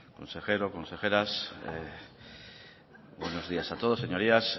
consejero consejeras buenos días a todos señorías